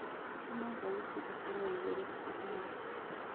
tũma thaũtĩĩkorwo yaĩgũrũ tafadhalĩ